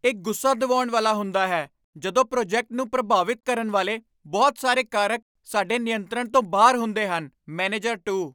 ਇਹ ਗੁੱਸਾ ਦਿਵਾਉਣ ਵਾਲਾ ਹੁੰਦਾ ਹੈ ਜਦੋਂ ਪ੍ਰੋਜੈਕਟ ਨੂੰ ਪ੍ਰਭਾਵਿਤ ਕਰਨ ਵਾਲੇ ਬਹੁਤ ਸਾਰੇ ਕਾਰਕ ਸਾਡੇ ਨਿਯੰਤਰਣ ਤੋਂ ਬਾਹਰ ਹੁੰਦੇ ਹਨ ਮੈਨੇਜਰ ਟੂ